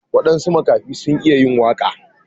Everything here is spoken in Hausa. Waɗansu makafai sun iya yin waka.